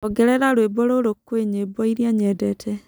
Ongerera rwĩmbo rũrũ kwi nyĩmbo ĩrĩa nyendete